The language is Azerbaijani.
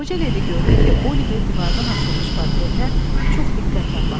Qoca ledi gördü ki, Oliver divardan asılmış portretə çox diqqətlə baxır.